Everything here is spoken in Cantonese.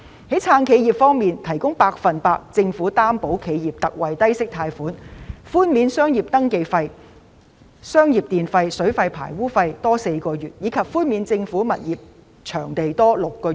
在"撐企業"方面，政府向企業提供百分百擔保特惠貸款，又寬免商業登記費、商業電費、水費和排污費4個月，以及寬免政府物業場地租金6個月。